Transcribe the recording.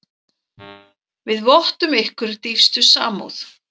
Við vottum ykkur dýpstu samúð.